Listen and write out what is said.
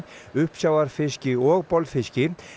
uppsjávarfiski og bolfiski